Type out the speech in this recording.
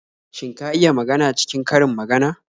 Shin ka iya magana cikin karin magana?